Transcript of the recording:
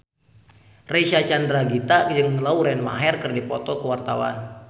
Reysa Chandragitta jeung Lauren Maher keur dipoto ku wartawan